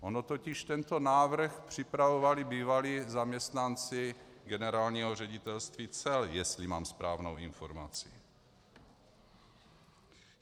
Ono totiž tento návrh připravovali bývalí zaměstnanci Generálního ředitelství cel, jestli mám správnou informaci.